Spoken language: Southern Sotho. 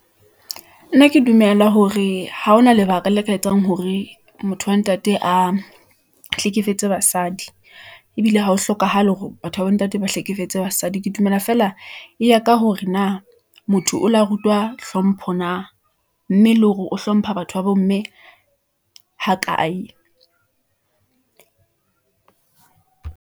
Nna ke dumela hore ha hona lebaka le ka etsang hore motho wa ntate a hlekefetse basadi , ebile ha ho hlokahale hore batho ba bo ntate ba hlekefetse basadi. Ke dumela feela eya ka hore na motho o lo rutwa hlompho na . Mme le hore o hlompha batho babo mme ha kae.